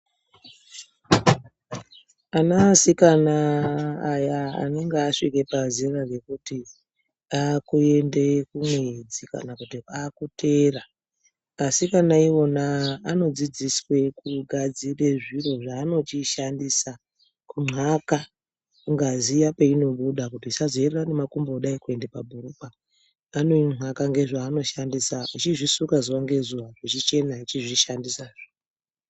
Ana asikana aya anenge asvike pazera rekuti akuende kumwedzi kana kuti akuteera, asikana iwona anodzidziswe kugadzire zviro zvaanochishandisa kunxaka ngazi iya peinobuda kuti isazoerera ngemakumbo kudai kuende pabhurukwa, anoinxaka nezvaanoshandisa vachizvisuka zuva ngezuva zvichichena vachizvishandisazve.